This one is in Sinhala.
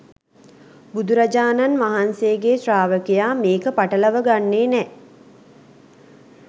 බුදුරජාණන් වහන්සේගේ ශ්‍රාවකයා මේක පටලව ගන්නෙ නෑ